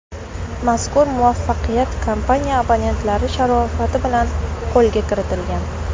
Mazkur muvaffaqiyat kompaniya abonentlari sharofati bilan qo‘lga kiritilgan.